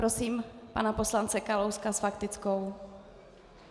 Prosím pana poslance Kalouska s faktickou.